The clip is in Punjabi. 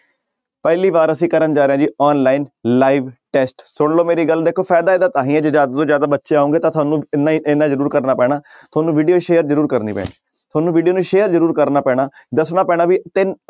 ਪਹਿਲੀ ਵਾਰ ਅਸੀਂ ਕਰਨ ਜਾ ਰਹੇ ਹਾਂ ਜੀ online live test ਸੁਣ ਲਓ ਮੇਰੀ ਗੱਲ ਦੇਖੋ ਫ਼ਾਇਦਾ ਇਹਦਾ ਤਾਂ ਹੀ ਹੈ ਜੇ ਜ਼ਿਆਦਾ ਤੋਂ ਜ਼ਿਆਦਾ ਬੱਚੇ ਆਓਗੇ ਤਾਂ ਤੁਹਾਨੂੰ ਇੰਨਾ ਹੀ ਇੰਨਾ ਜ਼ਰੂਰ ਕਰਨਾ ਪੈਣਾ ਤੁਹਾਨੂੰ video share ਜ਼ਰੂਰ ਕਰਨੀ ਪੈਣੀ ਤੁਹਾਨੂੰ video ਨੂੰ share ਜ਼ਰੂਰ ਕਰਨਾ ਪੈਣਾ, ਦੱਸਣਾ ਪੈਣਾ ਵੀ ਤਿੰਨ